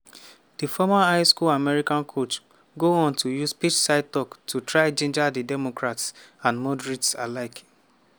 di former high-school american football coach go on to use pitchside toks to try ginger di democrats and moderates alike.